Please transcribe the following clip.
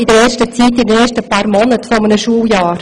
Dies betrifft vor allem die ersten paar Monate eines Schuljahres.